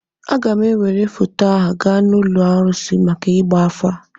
Aga m ewere foto a gaa n'ụlọ arụsị maka ịgba afa